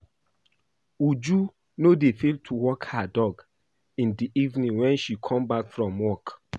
Uju no dey fail to walk her dog in the evening wen she come back from work